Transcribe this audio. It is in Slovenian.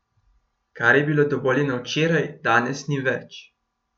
Kar je bilo dovoljeno včeraj, danes ni več.